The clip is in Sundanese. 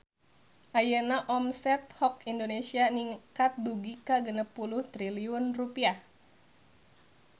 Ayeuna omset Hock Indonesia ningkat dugi ka 60 triliun rupiah